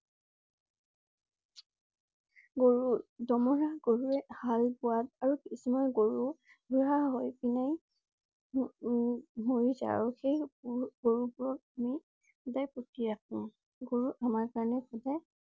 গৰু~দমৰা গৰুৱে হাল বোৱাত আৰু কিছুমান গৰু বুঢ়া হৈ পিনে উম মৰি যায় আৰু সেই~গৰু বোৰক আমি সদায় পুতি ৰাখোঁ। গৰু আমাৰ কাৰণে সদায়